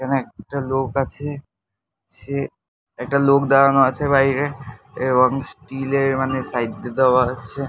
এখানে একটা লোক আছে। সে একটা লোক দাঁড়ানো আছে বাইরে এবং স্টিল -এর মানে সাইড দিয়ে দেওয়া আছে।